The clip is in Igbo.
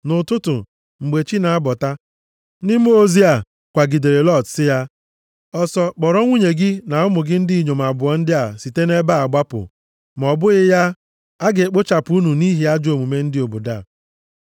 Nʼụtụtụ, mgbe chi na-abọta, ndị mmụọ ozi a kwagidere Lọt sị ya, “Ọsọ, kpọrọ nwunye gị na ụmụ gị ndị inyom abụọ ndị a site nʼebe a gbapụ, ma ọ bụghị ya, a ga-ekpochapụ unu nʼihi ajọ omume ndị obodo a.”